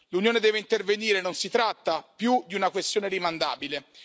L'Unione deve intervenire e non si tratta più di una questione rimandabile.